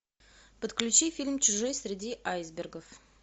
подключи фильм чужой среди айсбергов